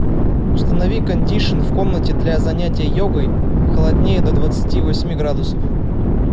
установи кондишн в комнате для занятия йогой холоднее до двадцати восьми градусов